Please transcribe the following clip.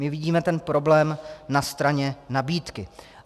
My vidíme ten problém na straně nabídky.